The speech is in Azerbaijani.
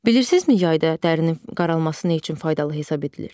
Bilirsizmi yayda dərinin qaralması nə üçün faydalı hesab edilir?